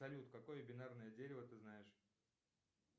салют какое бинарное дерево ты знаешь